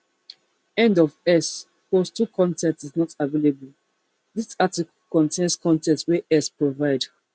end of x post two con ten t is not available dis article contain con ten t wey x provide